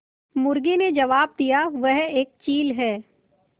मुर्गी ने जबाब दिया वह एक चील है